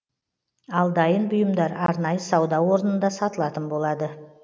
ал дайын бұйымдар арнайы сауда орнында сатылатын болады